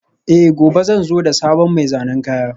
Eh, gobe zan zo da sabon mai zanen kaya